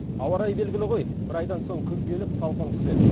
ауа райы белгілі ғой бір айдан соң күз келіп салқын түседі